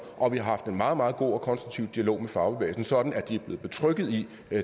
og vi har haft en meget meget god og konstruktiv dialog med fagbevægelsen sådan at de er blevet betrygget i